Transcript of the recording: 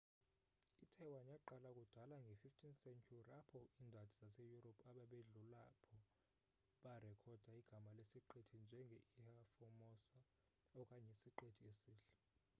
itaiwan yaqala kudala nge 15th century apho indadi zase europe ababedlulaapho barekhoda igama lesiqithi njenge ilha formosa okanye isiqithi esihle